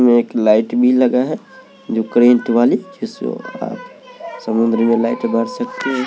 इसमें एक लाइट भी लगा है जो करेंट वाली समुद्र में लाइट बार सकते हैं।